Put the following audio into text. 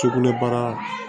Sugunɛbara